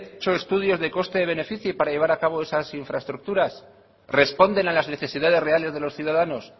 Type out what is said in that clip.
hecho estudios de coste beneficio para llevar a cabo esas infraestructuras responden a las necesidades reales de los ciudadanos